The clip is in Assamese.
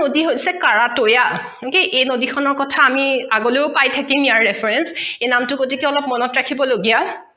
নদী হৈছে কাৰাটৈয়া এই নদী খনৰ কখা আমি আগলৈও পাই থাকিম ইয়াৰ reference এই নামটো গতিকে অলপ মনত ৰাখিব লগীয়া